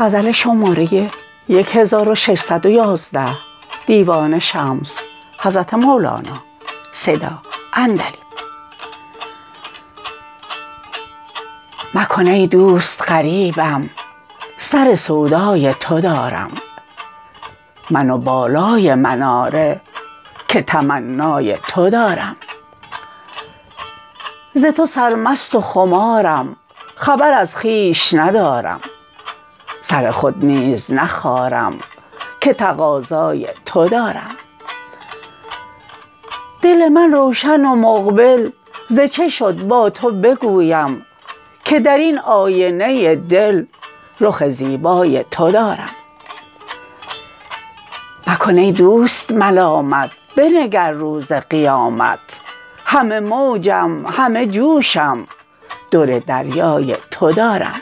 مکن ای دوست غریبم سر سودای تو دارم من و بالای مناره که تمنای تو دارم ز تو سرمست و خمارم خبر از خویش ندارم سر خود نیز نخارم که تقاضای تو دارم دل من روشن و مقبل ز چه شد با تو بگویم که در این آینه دل رخ زیبای تو دارم مکن ای دوست ملامت بنگر روز قیامت همه موجم همه جوشم در دریای تو دارم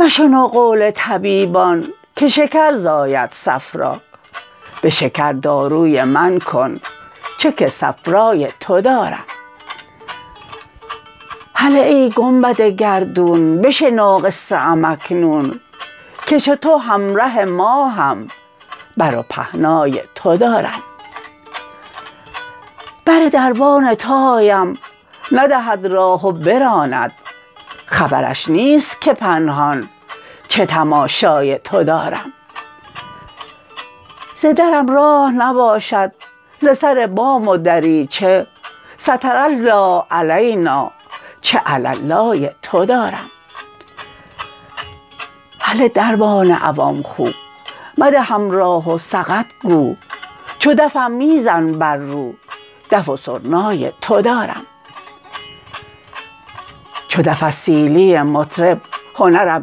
مشنو قول طبیبان که شکر زاید صفرا به شکر داروی من کن چه که صفرای تو دارم هله ای گنبد گردون بشنو قصه ام اکنون که چو تو همره ماهم بر و پهنای تو دارم بر دربان تو آیم ندهد راه و براند خبرش نیست که پنهان چه تماشای تو دارم ز درم راه نباشد ز سر بام و دریچه ستر الله علینٰا چه علالای تو دارم هله دربان عوان خو مدهم راه و سقط گو چو دفم می زن بر رو دف و سرنای تو دارم چو دف از سیلی مطرب هنرم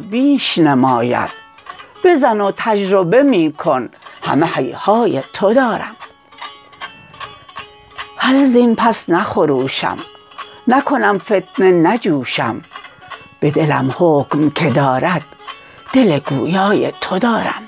بیش نماید بزن و تجربه می کن همه هیهای تو دارم هلهزین پس نخروشم نکنم فتنه نجوشم به دلم حکم کی دارد دل گویای تو دارم